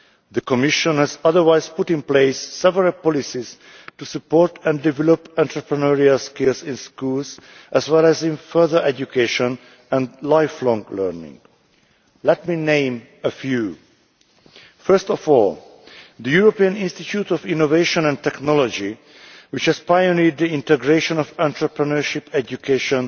The Commission has also put in place several policies to support and develop entrepreneurial skills in schools, as well as in further education and lifelong learning. Let me name a few. First of all, the European Institute of Innovation and Technology has pioneered the integration of entrepreneurship education